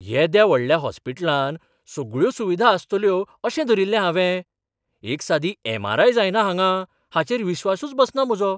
येद्या व्हडल्या हॉस्पिटलांत सगळ्यो सुविधा आसतल्यो अशें धरिल्लें हावें. एक सादी एम.आर.आय. जायना हांगां हाचेर विस्वासूच बसना म्हजो.